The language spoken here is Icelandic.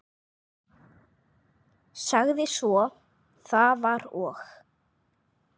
Sagði svo: Það var og